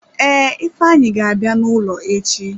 Ee, ifeanyi ga-abịa n'ụlọ echi.